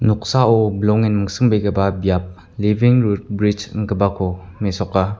noksao bilongen mingsingbegipa biap libing rud bridge ingipako mesoka.